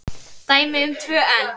Dæmi um tvö enn